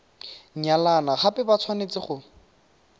nyalana gape ba tshwanetse go